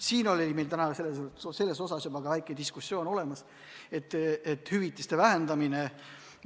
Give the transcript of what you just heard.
Meil oli täna selle üle ka väike diskussioon, et kõne alla tuleb hüvitiste vähendamine.